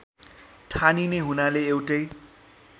ठानिने हुनाले एउटै